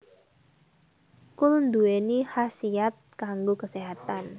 Kul nduwéni khasiat kanggo kaséhatan